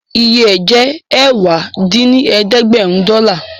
Iye ẹ̀ jẹ́ ẹ̀wá dín ní ẹ̀ẹ́dẹ́gbẹ́rún dọ́là